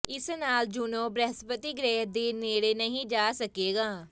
ਇਸ ਨਾਲ ਜੂਨੋ ਬ੍ਰਹਿਸਪਤੀ ਗ੍ਰਹਿ ਦੇ ਨੇੜੇ ਨਹੀਂ ਜਾ ਸਕੇਗਾ